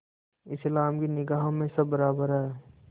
इस्लाम की निगाह में सब बराबर हैं